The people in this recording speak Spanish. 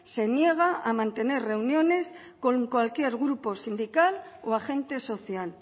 se niega a mantener reuniones con cualquier grupo sindical o agente social